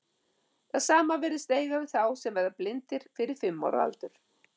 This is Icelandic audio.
Það sama virðist eiga við um þá sem verða blindir fyrir fimm ára aldur.